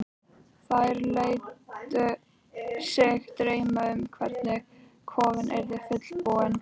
Þær létu sig dreyma um hvernig kofinn yrði fullbúinn.